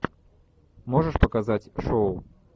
можешь показать шоу